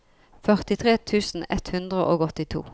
førtitre tusen ett hundre og åttito